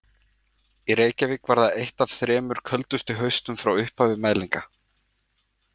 Í Reykjavík var það eitt af þremur köldustu haustum frá upphafi mælinga.